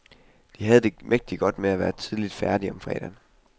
De havde det mægtig godt med at være tidligt færdige om fredagen.